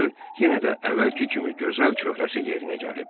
Gördü yenə də əvvəlki kimi gözəl çöhrəsi yerinə gəlib.